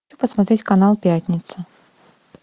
хочу посмотреть канал пятница